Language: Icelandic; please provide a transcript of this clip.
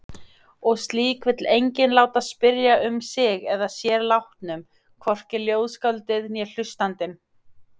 Og slíkt vill enginn láta spyrjast um sig að sér látnum, hvorki ljóðskáldið né hlustandinn.